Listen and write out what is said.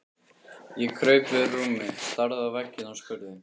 Ég kraup við rúmið, starði á vegginn og spurði